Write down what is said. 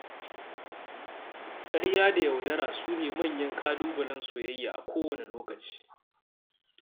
Ƙarya da yaudara su ne manyan ƙalubalen soyayya a kowane lokaci.